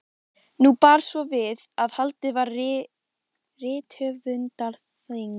Nú bar svo við að haldið var rithöfundaþing.